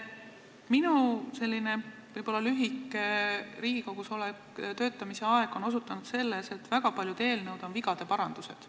Minu selline võib-olla lühike Riigikogus töötamise aeg on osutanud sellele, et väga paljud eelnõud on vigade parandused.